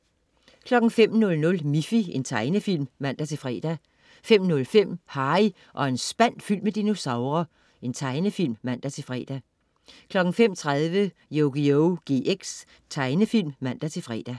05.00 Miffy. Tegnefilm (man-fre) 05.05 Harry og en spand fyldt med dinosaurer. Tegnefilm (man-fre) 05.30 Yugioh GX. Tegnefilm (man-fre)